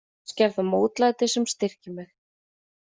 Kannski er það mótlætið sem styrkir mig.